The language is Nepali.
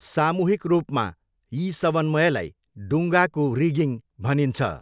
सामूहिक रूपमा यी समन्वयलाई डुङ्गाको रिगिङ भनिन्छ।